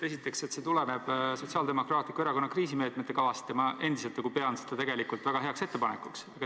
Esiteks, see tuleb Sotsiaaldemokraatliku Erakonna kriisimeetmete kavast ja ma endiselt pean seda väga heaks ettepanekuks.